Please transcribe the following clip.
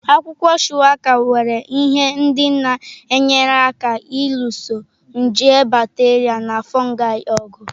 Akwụkwọ Shuwaka nwere ihe ndị na-enyere aka ịlụso nje bakterịa na fụụgai ọgụ.